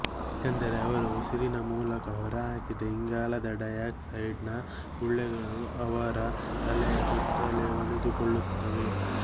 ಏಕೆಂದರೆ ಅವರು ಉಸಿರಿನ ಮೂಲಕ ಹೊರಹಾಕಿದ ಇಂಗಾಲದ ಡೈ ಆಕ್ಸೈಡ್ ನ ಗುಳ್ಳೆಗಳು ಅವರ ತಲೆಯ ಸುತ್ತಲೇ ಉಳಿದುಕೊಳ್ಳುತ್ತವೆ